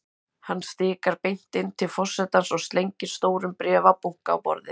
Hann stikar beint inn til forsetans og slengir stórum bréfabunka á borðið.